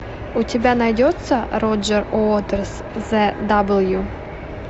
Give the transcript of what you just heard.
у тебя найдется роджер уотерс зе дабл ю